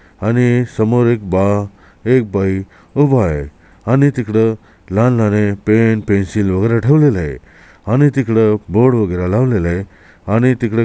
आणि समोर एक बा एक बाई उभा आहे आणि तिकड लागणारे पेन पेन्सिल ठेवलेले आहे आणि तिकड बोर्ड वगैरे लावलेला आहे आणि तिकड --